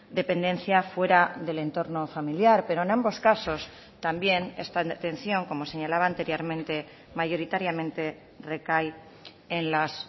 dependencia fuera del entorno familiar pero en ambos casos también esta atención como señalaba anteriormente mayoritariamente recae en las